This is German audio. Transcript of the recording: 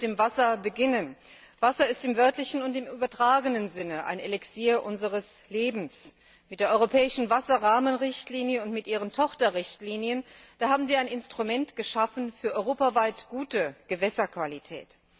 Ich möchte mit dem Wasser beginnen. Wasser ist im wörtlichen und im übertragenen Sinne ein Elixier unseres Lebens. Mit der europäischen Wasserrahmenrichtlinie und mit ihren Tochterrichtlinien haben wir ein Instrument geschaffen für europaweit gute Gewässerqualität.